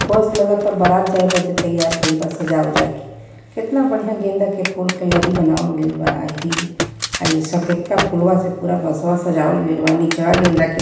बस लगत आ बारात जाइ बदे तैयार भइल बा सजा ओजा के केतना बढ़िया गेंदा के फूल के लड़ी बनावल गइल बा अ इहइ सफेदका फुलवा से पूरा बसवा सजावल गइल बा नीचवा गेंदा के --